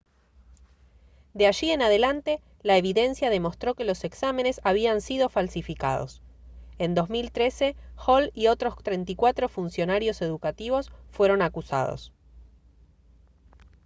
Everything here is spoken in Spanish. de allí en adelante la evidencia demostró que los exámenes habían sido falsificados en 2013 hall y otros 34 funcionarios educativos fueron acusados